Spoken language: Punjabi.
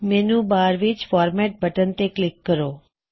ਮੈੱਨਯੂ ਬਾਰ ਵਿੱਚ ਫ਼ੌਰਮੈਟ ਬਟਨ ਤੇ ਕਲਿੱਕ ਕਰੋ